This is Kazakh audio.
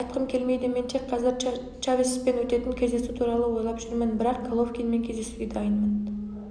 айтқым келмейді мен тек қазір чавеспен өтетін кездесу туралы ойлап жүрмін бірақ головкинмен кездесуге дайынмын